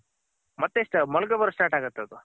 ಮತ್ತೆ ಮೊಳಕೆ ಬರಕ್ ಸ್ಟ್ರಾಟ್ ಆಗುತ್ತ್ಅದು.